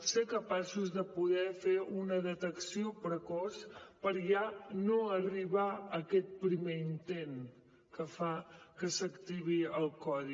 ser capaços de poder fer una detecció precoç per ja no arribar a aquest primer intent que fa que s’activi el codi